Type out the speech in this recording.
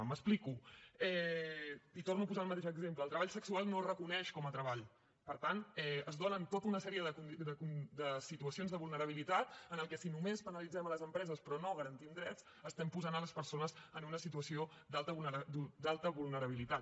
m’explico i torno a posar el mateix exemple el treball sexual no es reconeix com a treball per tant es donen tota una sèrie de situacions de vulnerabilitat amb què si només penalitzem les empreses però no garantim drets estem posant les persones en una situació d’alta vulnerabilitat